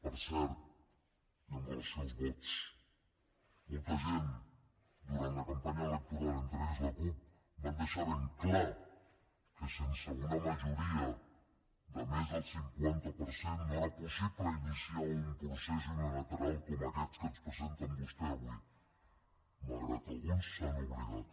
per cert i amb relació als vots molta gent durant la campanya electoral entre ells la cup van deixar ben clar que sense una majoria de més del cinquanta per cent no era possible iniciar un procés unilateral com aquest que ens presenten vostès avui malgrat que alguns se n’han oblidat